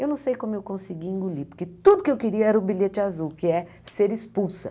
Eu não sei como eu consegui engolir, porque tudo que eu queria era o bilhete azul, que é ser expulsa.